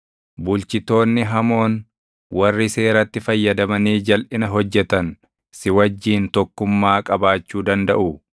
Bulchitoonni hamoon, warri seeratti fayyadamanii jalʼina hojjetan si wajjin tokkummaa qabaachuu dandaʼuu?